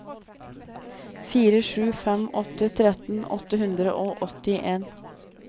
fire sju fem åtte tretten åtte hundre og åttien